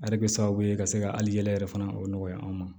A bɛ kɛ sababu ye ka se ka hali yɛlɛ yɛrɛ fana o nɔgɔya an ma